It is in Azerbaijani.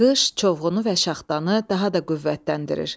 Qış çovğunu və şaxtanı daha da qüvvətləndirir.